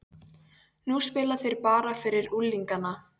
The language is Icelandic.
Nú spila þeir bara fyrir unglingana.